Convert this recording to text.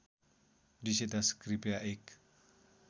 २०१० कृपया एक